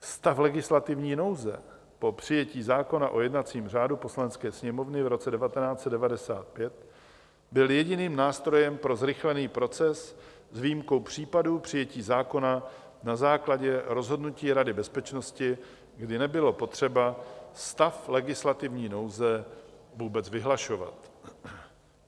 Stav legislativní nouze po přijetí zákona o jednacím řádu Poslanecké sněmovny v roce 1995 byl jediným nástrojem pro zrychlený proces, s výjimkou případu přijetí zákona na základě rozhodnutí Rady bezpečnosti, kdy nebylo potřeba stav legislativní nouze vůbec vyhlašovat.